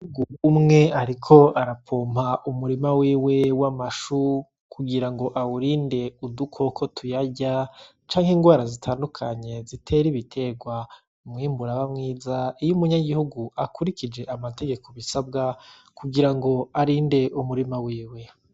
Umugabo umwe ariko arapoma umurima wiwe w'amashu kugira ngo awurinde udukoko tuyarya canke ingwara zitandukanye zitera ibiterwa. Umwimbu uraba mwiza iyo umunyagihugu akurikije amategeko bisabwa kugira ngo arinde umurima wiwe.